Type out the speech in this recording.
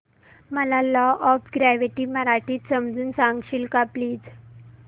मला law of gravity मराठीत समजून सांगशील का प्लीज